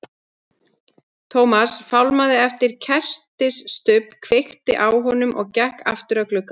Thomas fálmaði eftir kertisstubb, kveikti á honum og gekk aftur að glugganum.